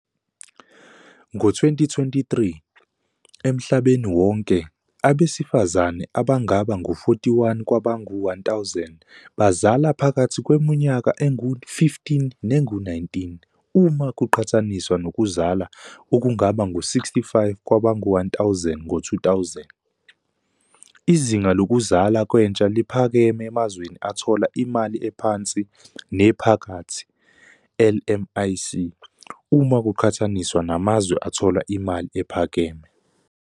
Ngo-2023, emhlabeni wonke, abesifazane abangaba ngu-41 kwabangu-1,000 bazala phakathi kweminyaka engu-15 nengu-19, uma kuqhathaniswa nokuzalwa okungaba ngu-65 kwabangu-1.000 ngo-2000. Izinga lokuzalwa kwentsha liphakeme emazweni athola imali ephansi nephakathi, LMIC, uma kuqhathaniswa namazwe athola imali ephakeme.